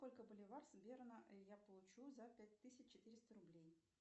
сколько боливар с берна я получу за пять тысяч четыреста рублей